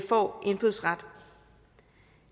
får indfødsret